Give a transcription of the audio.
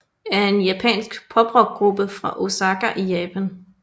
er en japansk poprockgruppe fra Osaka i Japan